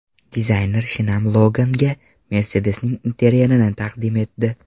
Dizayner shinam Logan’ga Mercedes’ning interyerini taqdim etdi .